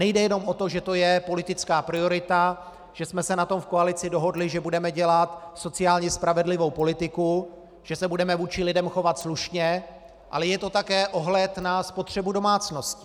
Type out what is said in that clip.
Nejde jenom o to, že to je politická priorita, že jsme se na tom v koalici dohodli, že budeme dělat sociálně spravedlivou politiku, že se budeme vůči lidem chovat slušně, ale je to také ohled na spotřebu domácností.